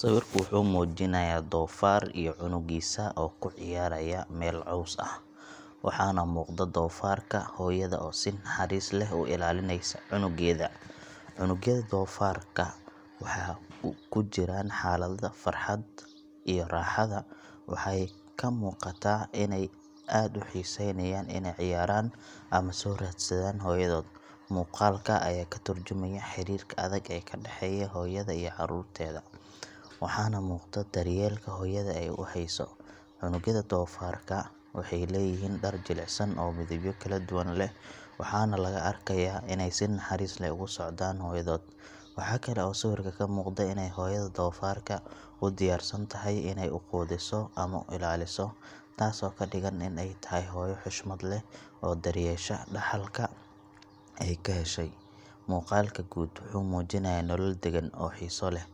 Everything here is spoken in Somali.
Sawirka wuxuu muujinayaa doofaar iyo cunugiisa oo ku ciyaaraya meel caws ah, waxaana muuqda doofaarka hooyada oo si naxariis leh u ilaalinaysa cunugeeda. Cunugyada doofaarka waxay ku jiraan xaalada farxadda iyo raaxada, waxay ka muuqataa inay aad u xiiseynayaan inay ciyaaraan ama soo raadsadaan hooyadood. Muuqaalka ayaa ka tarjumaya xiriirka adag ee ka dhexeeya hooyada iyo caruurteeda, waxaana muuqda daryeelka hooyada ee ay u hayso. Cunugyada doofaarka waxay leeyihiin dhar jilicsan oo midabyo kala duwan leh, waxaana laga arkayaa inay si naxariis leh ugu socdaan hooyadood. Waxaa kale oo sawirka ka muuqda inay hooyada doofaarka u diyaarsan tahay inay u quudiso ama u ilaaliso, taasoo ka dhigan in ay tahay hooyo xushmad leh oo daryeesha dhaxalka ay ka heshay. Muuqaalka guud wuxuu muujinayaa nolol deggan oo xiiso leh,